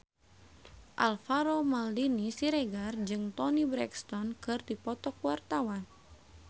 Alvaro Maldini Siregar jeung Toni Brexton keur dipoto ku wartawan